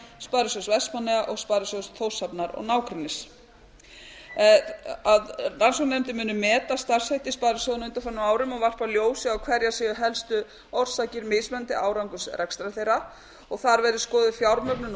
sparisjóðs vestmannaeyja og sparisjóðs þórshafnar og nágrennis b meta starfshætti sparisjóðanna á undanförnum árum og varpa ljósi á hverjar séu held orsakir mismunandi árangurs rekstrar þeirra þar verði fjármögnun og